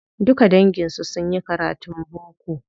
Duka dangin su sunyi karatun boko.